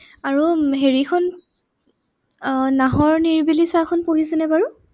আৰু হেৰিখন আহ নাহৰৰ নিৰিবিলি ছাঁখন পঢ়িছেনে বাৰু?